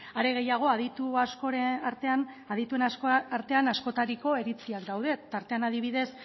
are gehiago aditu askoren artean askotariko iritziak daude tartean adibidez